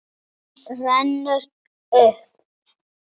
Hún rennur upp.